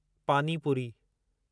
पानी पुरी